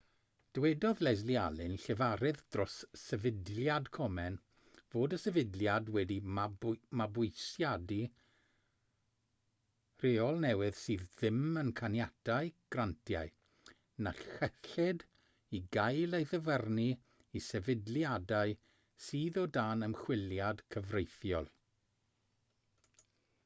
dywedodd leslie aun llefarydd dros sefydliad komen fod y sefydliad wedi mabwysiadu rheol newydd sydd ddim yn caniatáu grantiau na chyllid i gael ei ddyfarnu i sefydliadau sydd o dan ymchwiliad cyfreithiol